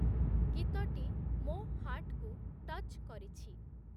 ଗୀତଟି ମୋ ହାର୍ଟ୍‌କୁ ଟଚ୍‌ କରିଛି